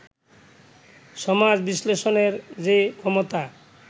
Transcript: সমাজ-বিশ্লেষণের যে ক্ষমতা